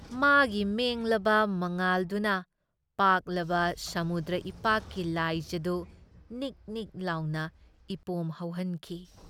ꯃꯥꯒꯤ ꯃꯦꯡꯂꯕ ꯃꯉꯥꯜꯗꯨꯅ ꯄꯥꯛꯂꯕ ꯁꯃꯨꯗ꯭ꯔ ꯏꯄꯥꯛꯀꯤ ꯂꯥꯏꯖꯗꯨ ꯅꯤꯛ ꯅꯤꯛ ꯂꯥꯎꯅ ꯏꯄꯣꯝ ꯍꯧꯍꯟꯈꯤ ꯫